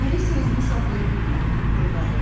Alisa özünü saxlaya bilmədi, pıqqıldadı.